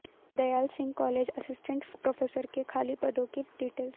Dayal Singh college assistant professor के खाली पदों की डिटेल्स